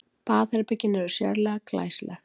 Baðherbergin eru sérlega glæsileg